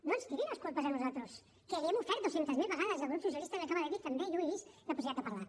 no ens doni les culpes a nosaltres que li hem ofert dues centes mil vegades i el grup socialista li ho acaba de dir també jo ho he vist la possibilitat de parlar